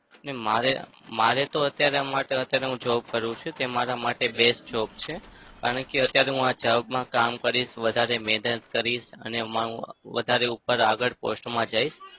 ને મારે મારે તો અત્યારે માટે job કરું છું તે મારા માટે બે જ job છે. કારણ કે અત્યારે આ job માં કામ કરીશ. વધારે મહેનત કરીશ અને એમાં હું વધારે ઉપર આગળ post માં જઈશ.